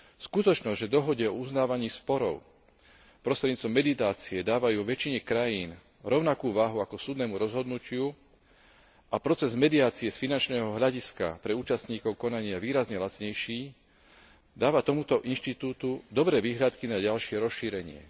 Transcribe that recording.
Skutočnosť, že dohode o uznávaní sporov prostredníctvom mediácie dávajú vo väčšine krajín rovnakú váhu ako súdnemu rozhodnutiu a proces mediácie je z finančného hľadiska pre účastníkov konania výrazne lacnejší, dáva tomuto inštitútu dobré vyhliadky na ďalšie rozšírenie.